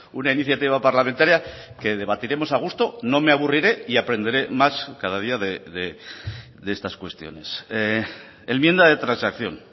una iniciativa parlamentaria que debatiremos a gusto no me aburriré y aprenderé más cada día de estas cuestiones enmienda de transacción